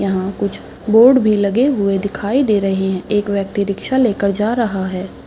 यहाँ कुछ बॉर्ड भी लगे हुए दिखाई दे रहे है एक व्यक्ति रिक्शा लेकर जा रहा है ।